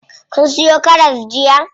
Kun siyo karas jiya?